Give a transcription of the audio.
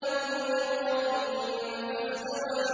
ذُو مِرَّةٍ فَاسْتَوَىٰ